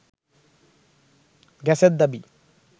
গ্যাসের দাবি